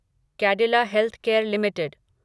Cadila healthcare limited